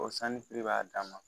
O sanjifi b'a dan ma